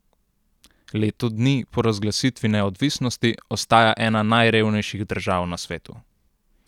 Leto dni po razglasitvi neodvisnosti ostaja ena najrevnejših držav na svetu.